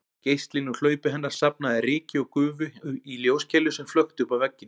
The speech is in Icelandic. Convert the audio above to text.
Geislinn úr hlaupi hennar safnaði ryki og gufu í ljóskeilu sem flökti uppá vegginn